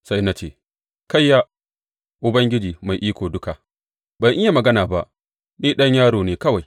Sai na ce, Kayya, Ubangiji Mai Iko Duka, ban iya magana ba; ni ɗan yaro ne kawai.